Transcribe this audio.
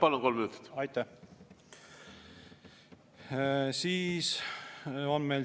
Palun, kolm minutit!